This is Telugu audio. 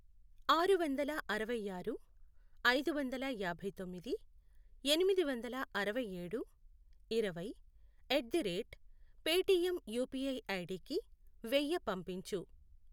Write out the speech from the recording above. ఆరు వందల అరవై ఆరు, ఐదు వందల యాభై తొమ్మిది, ఎనిమిది వందల అరవై ఏడు, ఇరవై, at the rate Paytm UPI ఐడికి వెయ్య పంపించు.